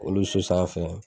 Olu so sanfɛ